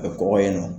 A bɛ kɔgɔ in na